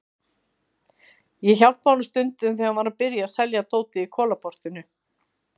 Ég hjálpaði honum stundum þegar hann var að byrja að selja dótið í Kolaportinu.